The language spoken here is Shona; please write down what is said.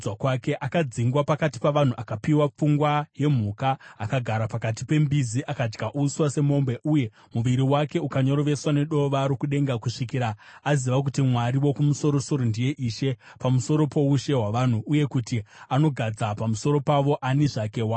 Akadzingwa pakati pavanhu akapiwa pfungwa yemhuka; akagara pakati pembizi akadya uswa semombe; uye muviri wake ukanyoroveswa nedova rokudenga, kusvikira aziva kuti Mwari Wokumusoro-soro ndiye ishe pamusoro poushe hwavanhu uye kuti anogadza pamusoro pavo ani zvake waanoda.